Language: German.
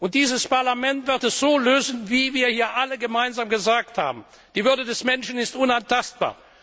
Und dieses Parlament wird es so lösen, wie wir hier alle gesagt haben Die Würde des Menschen ist unantastbar.